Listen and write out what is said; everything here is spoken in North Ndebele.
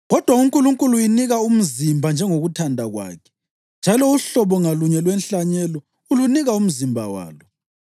Kodwa uNkulunkulu uyinika umzimba njengokuthanda kwakhe njalo uhlobo ngalunye lwenhlanyelo ulunika umzimba walo.